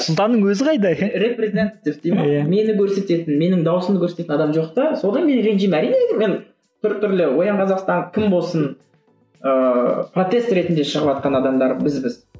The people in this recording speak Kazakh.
сұлтанның өзі қайда дей ме мені көрсететін менің дауысымды көрсететін адам жоқ та содан мен ренжимін әрине енді мен біртүрлі оян қазақстан кім болсын ыыы протест ретінде шығыватқан адамдар бізбіз